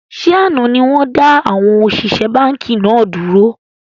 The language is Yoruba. Ṣé àná ni wọn da àwọn òṣìṣẹ́ báńkì náà dúró?